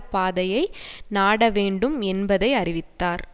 பாதையை நாடவேண்டும் என்பதைஅறிவித்தார்